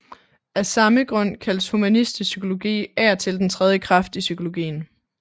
Af samme grund kaldes humanistisk psykologi af og til den tredje kraft i psykologien